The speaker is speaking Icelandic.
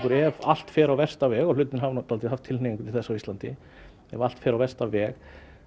er ef allt fer á versta veg og hlutirnir hafa haft tilhneigingu til þess á Íslandi ef allt fer á versta veg